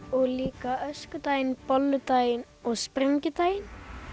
og líka öskudaginn bolludaginn og sprengidaginn